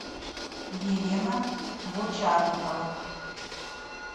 елена бочарникова